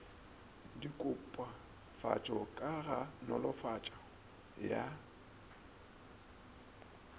dikopafatšo ka go nolofatšo ya